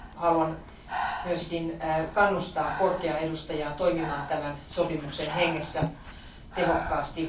Haluan myös kannustaa korkeaa edustajaa toimimaan tämän sopimuksen hengessä tehokkaasti.